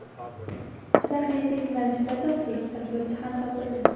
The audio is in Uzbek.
Juda qiyinchilik bilan chipta topdik, tasvirchi ham topildi.